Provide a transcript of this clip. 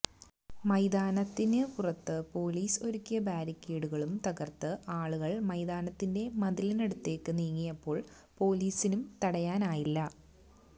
മൈതാനത്തിന് പുറത്ത് പോലീസ് ഒരുക്കിയ ബാരിക്കേഡുകളും തകര്ത്ത് ആളുകള് മൈതാനത്തിന്റെ മതിലിനടുത്തേക്ക് നീങ്ങിയപ്പോള് പോലീസിനും തടയാനായില്ല